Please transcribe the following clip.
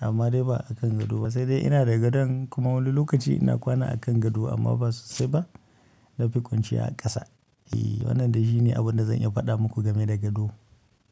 Amma dai ba akan gado ba, sai dai ina da gadon kuma wani lokaci ina kwana akan gado amma ba sosai ba. Na fi kwanciya a ƙasa. E, wannan dai shi ne abunda zan iya faɗa muku game da gado.